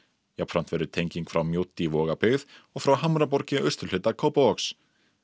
jafnframt verður tenging frá Mjódd í og frá Hamraborg í austurhluta Kópavogs